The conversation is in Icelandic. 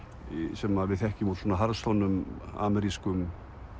sem við þekkjum úr harðsoðnum amerískum